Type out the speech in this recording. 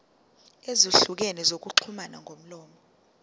ezahlukene zokuxhumana ngomlomo